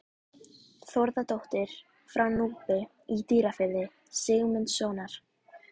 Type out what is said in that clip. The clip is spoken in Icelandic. Þórðardóttir frá Núpi í Dýrafirði, Sigmundssonar.